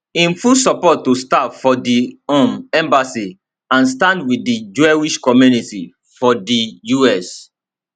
im full support to staff for di um embassy and stands wit di jewish community for di us